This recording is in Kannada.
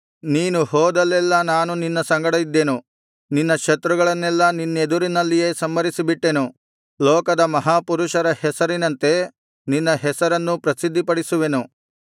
ನೀನು ಹೋದಲ್ಲೆಲ್ಲಾ ನಾನು ನಿನ್ನ ಸಂಗಡ ಇದ್ದೆನು ನಿನ್ನ ಶತ್ರುಗಳನ್ನೆಲ್ಲಾ ನಿನ್ನೆದುರಿನಲ್ಲಿಯೇ ಸಂಹರಿಸಿಬಿಟ್ಟೆನು ಲೋಕದ ಮಹಾಪುರುಷರ ಹೆಸರಿನಂತೆ ನಿನ್ನ ಹೆಸರನ್ನೂ ಪ್ರಸಿದ್ಧಪಡಿಸುವೆನು